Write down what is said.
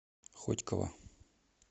хотьково